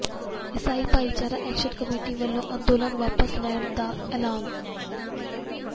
ਈਸਾਈ ਭਾਈਚਾਰਾ action committee ਵੱਲੋਂ ਅੰਦੋਲਨ ਵਾਪਸ ਲੈਣ ਦਾ ਐਲਾਨ